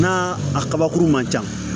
Na a kabakuru man ca